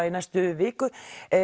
í næstu viku